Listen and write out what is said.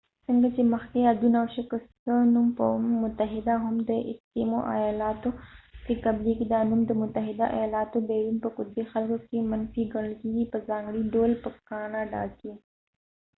څنګه چې مخکې یادونه وشوه ،که څه هم د ایسکېموeskim o نوم په متحده ایالاتو کې قبلیږی، دا نوم د متحده ایالاتونه بیرون په قطبی خلکو کې منفی ګڼل کېږی په ځانګړی ډول په کاناډا کې